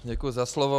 Děkuji za slovo.